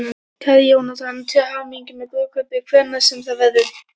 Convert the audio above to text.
Kæri Jónatan, til hamingju með brúðkaupið, hvenær sem það verður.